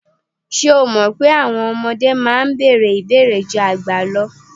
Ṣé o mọ̀ pé àwọn ọmọdé máa ń bèèrè ìbéèrè ju àgbà lọ?